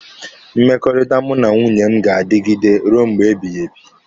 Mmekọrịta mụ na nwunye m ga-adigide ruo mgbe ebighị ebi.